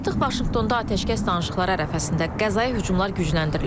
Artıq Vaşinqtonda atəşkəs danışıqları ərəfəsində Qəzaya hücumlar gücləndirilib.